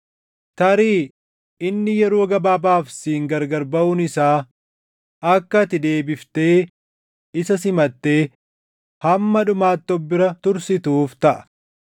Tarii inni yeroo gabaabaaf siin gargar baʼuun isaa akka ati deebiftee isa simattee hamma dhumaatti of bira tursituuf taʼa;